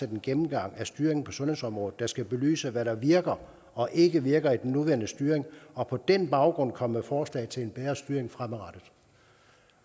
en gennemgang af styringen på sundhedsområdet der skal belyse hvad der virker og ikke virker i den nuværende styring og på den baggrund komme med forslag til en bedre styring fremadrettet